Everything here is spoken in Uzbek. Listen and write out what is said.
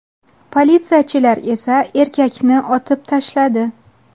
Politsiyachilar esa erkakni otib tashladi.